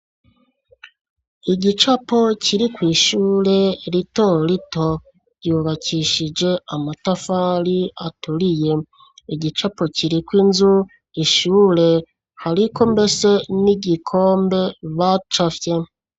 Igicapo kiri kw'ishure rito rito yubakishije amatafari aturiye, igicapo kiri k'unzu ishure hariko mbese n'igikombe hacafyeko.